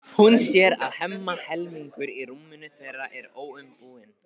Hún sér að Hemma helmingur í rúminu þeirra er óumbúinn.